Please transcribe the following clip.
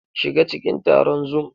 SHiga cikin taron Zoom!